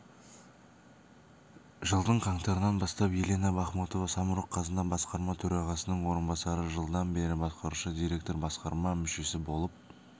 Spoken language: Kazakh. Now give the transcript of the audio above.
жылдың қаңтарынан бастап елена бахмутова самұрық қазына басқарма төрағасының орынбасары жылдан бері басқарушы директор-басқарма мүшесі болып